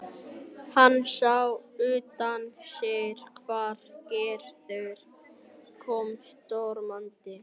Hann sá útundan sér hvar Gerður kom stormandi.